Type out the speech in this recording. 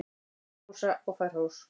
Ég hrósa og fæ hrós.